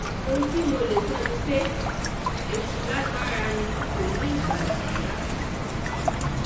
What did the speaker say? ohun um tí mo lè sọ ni pé èṣù um lágbára ni kò ní ìgbàlà rárá